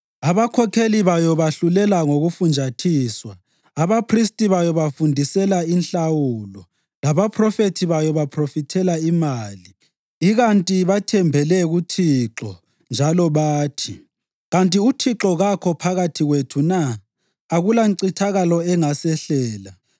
Abakhokheli bayo bahlulela ngokufunjathiswa, abaphristi bayo bafundisela inhlawulo, labaphrofethi bayo baphrofithela imali; ikanti bathembele kuThixo njalo bathi, “Kanti uThixo kakho phakathi kwethu na? Akulancithakalo engasehlela.”